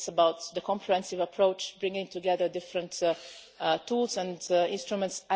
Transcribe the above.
It's about the comprehensive approach bringing together different tools and instruments.